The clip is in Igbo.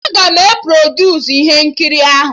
Aga m e produsu ihe nkiri ahụ